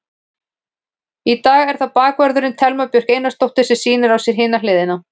Í dag er það bakvörðurinn, Thelma Björk Einarsdóttir sem sýnir á sér hina hliðina.